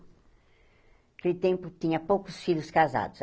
Naquele tempo, tinha poucos filhos casados.